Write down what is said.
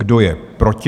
Kdo je proti?